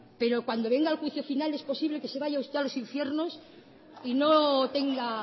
pero cuando venga el juicio final es posible que se vaya usted a los infiernos y no tenga